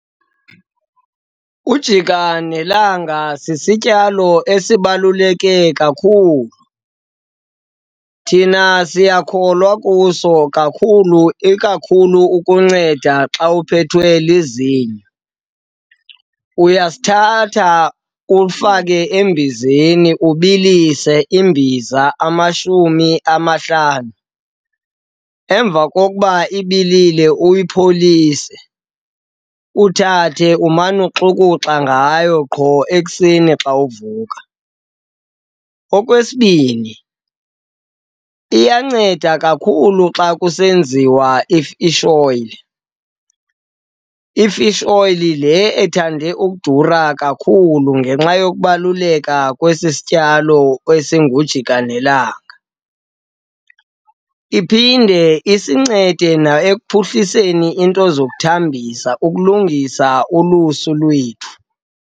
Ujikanelanga sisityalo esibaluleke kakhulu. Thina siyakholelwa kuso kakhulu ikakhulu ukunceda xa uphethwe lizinyo. Uyasithatha ufake embizeni, ubilise imbiza amashumi amahlanu. Emva kokuba ibilile uyipholise, uthathe umane uxukuxa ngayo qho ekuseni xa uvuka. Okwesibini, iyanceda kakhulu xa kusenziwa i-fish oil. I-fish oil le ethande ukudura kakhulu ngenxa yokubaluleka kwesi sityalo esingujikanelanga. Iphinde isincede na ekuphuhliseni into zokuthambisa, ukulungisa ulusu lwethu.